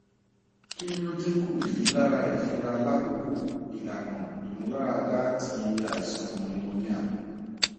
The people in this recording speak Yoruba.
kini o dinku rilara ifunra lakoko ilana imularada ti aisan pneumonia